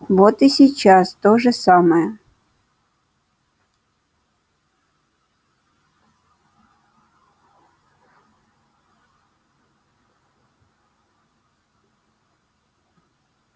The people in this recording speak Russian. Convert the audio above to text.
вот и сейчас то же самое